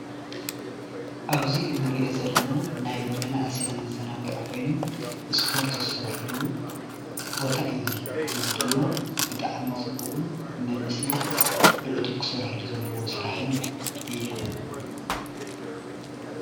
ኣብዝ እንርኦ ዘለና ናይ መናእሰይ መዛናግዒ ኮይኑ ስፖርት ዝሰርሕሉ ቦታ እዩ እዙይ፡፡ እዙይ ድማ ብጣዕሚ ፅቡቕ መናእሰይ ብዕቱብ ክሰረሕሉ ዘሎዎ ስራሕን እዮሞ፡፡